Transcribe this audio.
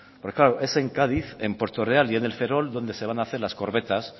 porque claro es en cádiz en puerto real y en el ferrol donde se van a hacer las corbetas